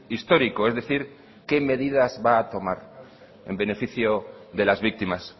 histórico es decir qué medidas va a tomar en beneficio de las víctimas